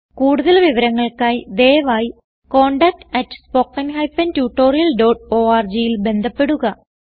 കുടുതൽ വിവരങ്ങൾക്കായി ദയവായി contactspoken tutorialorgൽ ബന്ധപ്പെടുക